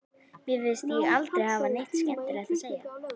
Mér fannst ég aldrei hafa neitt skemmtilegt að segja.